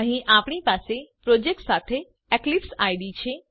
અહીં આપણી પાસે પ્રોજેક્ટ સાથે એક્લિપસાઇડ છે